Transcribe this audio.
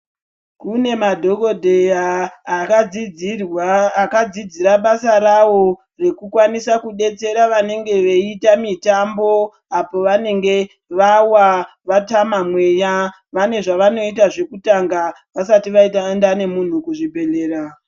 Kune madhokodheya akadzidzirwa akadzidzira basa rawo rekukwanisa kudetsera vanenge veiita mutambo apo vanenge vawa vatama mweya vane zvavanoita zvekutanga vasati vaenda nemunhu kuzvibhedhlera.